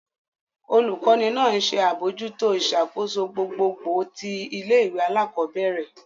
Olukọni náà nṣe abojuto iṣakoso gbogbogbò ti ilé-ìwé alakọbẹrẹ.